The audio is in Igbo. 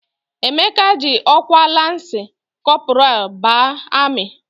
Emeka ji ọkwa lansị kọpọral baa amị.